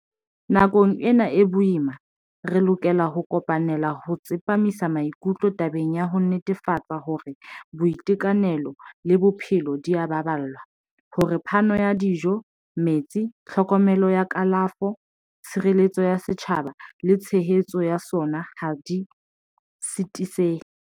Nakong ena e boima, re lokela ho kopanela ho tsepamisa mai-kutlo tabeng ya ho netefatsa hore boitekanelo le bophelo di a baballwa, hore phano ya dijo, metsi, tlhokomelo ya ka-lafo, tshireletso ya setjhaba le tshehetso ya sona ha di sitisehe.